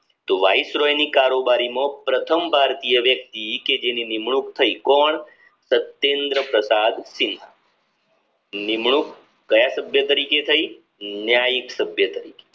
તો વાઇસરોયની કારોબારીનો પ્રથમ ભારતીય વ્યક્તિ કે જે ની નિમણૂંક થઈ કોણ તેન્દ્રપ્રતાપ સિંહા નિમણુંક ક્યાં સભ્ય તરીકે થઇ ન્યાયિક સભ્ય તરીકે